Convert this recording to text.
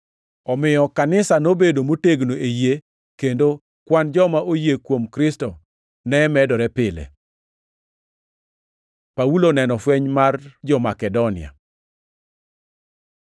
Omiyo kanisa nobedo motegno e yie, kendo kwan joma oyie kuom Kristo ne medore pile. Paulo oneno fweny mar ja-Makedonia